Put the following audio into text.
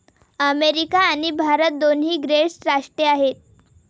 America आणि भारत दोन्ही great राष्ट्रे आहेत.